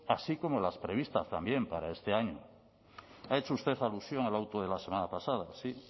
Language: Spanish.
así como las previstas también para este año ha hecho usted alusión al auto de la semana pasada sí